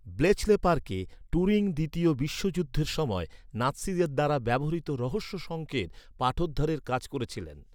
Bletchley পার্কে, Turing দ্বিতীয় বিশ্বযুদ্ধের সময় নাৎসিদের দ্বারা ব্যবহৃত রহস্য সঙ্কেত পাঠোদ্ধারের কাজ করেছিলেন।